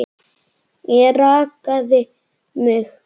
Ég rakaði mig.